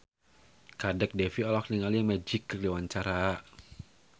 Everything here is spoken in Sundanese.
Kadek Devi olohok ningali Magic keur diwawancara